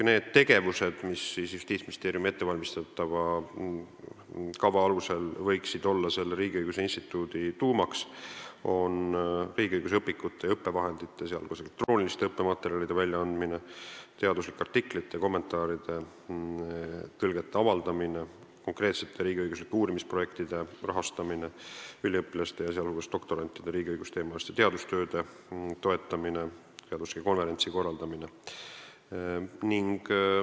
Need tegevused, mis Justiitsministeeriumi ettevalmistatava kava alusel võiksid olla selle riigiõiguse instituudi tuumaks, on riigiõiguse õpikute ja õppevahendite, sh elektrooniliste õppematerjalide väljaandmine, teaduslike artiklite, kommentaaride ja tõlgete avaldamine, konkreetsete riigiõiguslike uurimisprojektide rahastamine, üliõpilaste, sh doktorantide riigiõigusteemaliste teadustööde toetamine ning konverentside korraldamine.